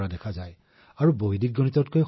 গৌৰৱ জী আপুনি ইয়াত কিমান বছৰ ধৰি কাম কৰি আছে